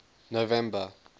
november